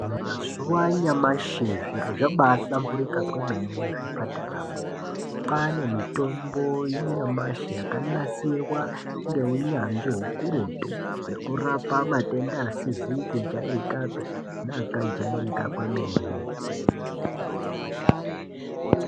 Mazuva anyamashi zviro zvabahlamburika kwemene muzvipatara mo kwaane mitombo yanyamashi yakanasirwa ngeunyanzvi ukurutu wekurapa matenda asizi kujairikapi neakajairika kwemene .